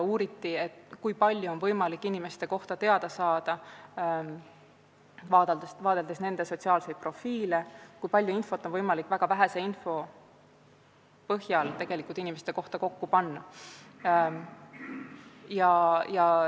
Uuriti, kui palju on võimalik inimeste kohta teada saada, vaadeldes nende sotsiaalseid profiile, kui palju infot on võimalik väga väheste andmete põhjal inimeste kohta kokku panna.